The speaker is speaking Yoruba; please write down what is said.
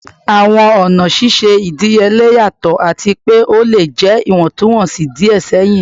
Awọn ọna ṣiṣe idiyele yatọ ati pe o le jẹ iwọntunwọnsi diẹ sẹhin